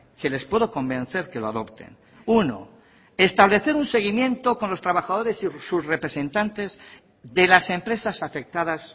que les puedo convencer que lo adopten uno establecer un seguimiento con los trabajadores y sus representantes de las empresas afectadas